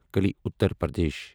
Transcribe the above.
کٔلی Uttar Pradesh